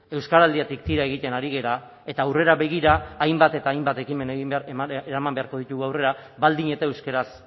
euskaraldiatik tira egiten ari gara eta aurrera begira hainbat eta hainbat ekimen egin eraman beharko ditugu aurrera baldin eta euskaraz